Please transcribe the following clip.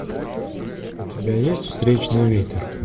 у тебя есть встречный ветер